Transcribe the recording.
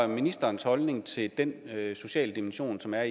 ministerens holdning til den sociale dimension som er